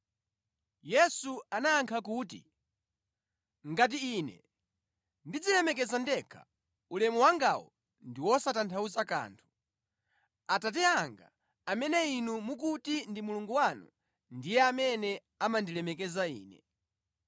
Yesu anayankha kuti, “Ngati Ine ndidzilemekeza ndekha, ulemu wangawo ndi wosatanthauza kanthu. Atate anga amene inu mukuti ndi Mulungu wanu, ndiye amene amandilemekeza Ine.